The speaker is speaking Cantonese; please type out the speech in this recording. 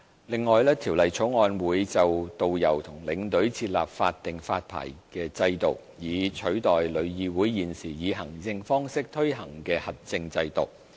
另外，《條例草案》會就導遊和領隊設立法定發牌制度，以取代旅議會現時以行政方式推行的核證制度。